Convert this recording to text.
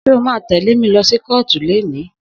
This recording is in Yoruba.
Só mà tẹle mi lọsi kọ̀ọ́tú leni?